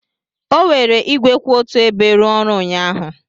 O were igwe kwụ otu ebe rụọ ọrụ ụnyaahụ.